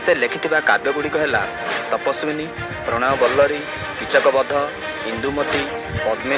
ସେ ଲେଖିଥିବା କାବ୍ୟ ଗୁଡ଼ିକ ହେଲା ତପ୍ସ୍ୱାନି ପ୍ରନ୍ୟବଲଳି କିଚକ୍ବଧ ଇନ୍ଦୁମତି।